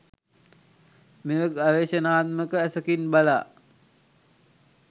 මෙය ගවේෂණාත්මක ඇසකින් බලා